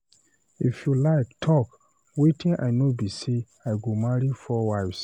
If you like talk, wetin I know be say I go marry 4 wives.